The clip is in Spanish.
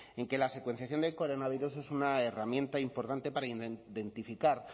en que la secuenciación del coronavirus es una herramienta importante para identificar